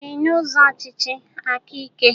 Abacha chịrị n'ụzọ ọchịchị aka ike